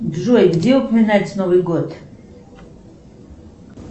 джой где упоминается новый год